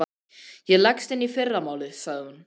Ég leggst inn í fyrramálið, sagði hún.